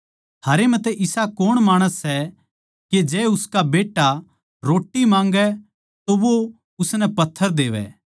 थारै म्ह तै इसा कौण माणस सै के जै उसका बेट्टा रोट्टी माँगै तो वो उसनै पत्थर देवै